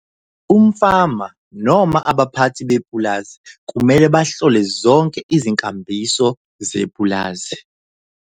Umfama noma abaphathi bepulazi kumele bahlole zonke izinkambiso zepulazi.